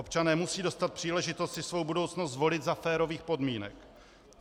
Občané musejí dostat příležitost si svou budoucnost zvolit za férových podmínek.